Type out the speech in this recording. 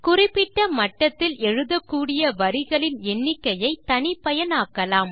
குறிப்பிட்ட மட்டத்தில் எழுதக்கூடிய வரிகளின் எண்ணிக்கையை தனிப்பயன் ஆக்கலாம்